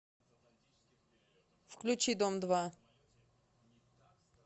включи дом два